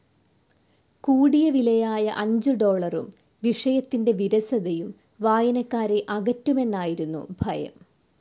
കൂടിയവിലയായ അഞ്ചു ഡോളറും, വിഷയത്തിൻ്റെ വിരസതയും വായനക്കാരെ അകറ്റുമെന്നായിരുന്നു ഭയം.